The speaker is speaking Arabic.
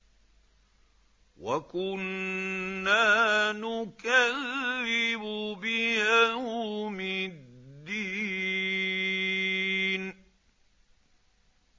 وَكُنَّا نُكَذِّبُ بِيَوْمِ الدِّينِ